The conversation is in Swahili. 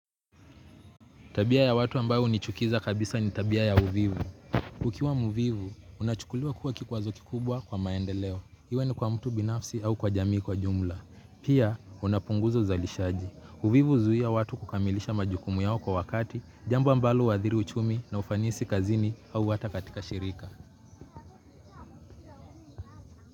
Tabia ya watu ambao hunichukiza kabisa ni tabia ya uvivu. Ukiwa mvivu, unachukuliwa kuwa kikwazo kikubwa kwa maendeleo. Iwe ni kwa mtu binafsi au kwa jamii kwa jumla. Pia, unapunguza uzalishaji. Uvivu huzuia watu kukamilisha majukumu yao kwa wakati, jambo ambalo huadhiri uchumi na ufanisi kazini au hata katika shirika.